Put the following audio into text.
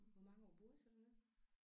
Hvor mange år boede I så dernede?